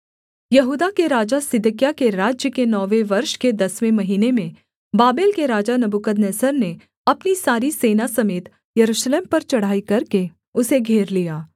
यहूदा के राजा सिदकिय्याह के राज्य के नौवें वर्ष के दसवें महीने में बाबेल के राजा नबूकदनेस्सर ने अपनी सारी सेना समेत यरूशलेम पर चढ़ाई करके उसे घेर लिया